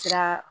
Kɛra